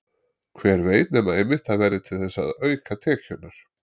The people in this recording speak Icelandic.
Hver veit nema einmitt það verði til þess að auka tekjurnar?